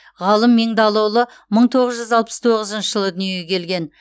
ғалым меңдалыұлы мың тоғыз жүз алпыс тоғызыншы жылы дүниеге келген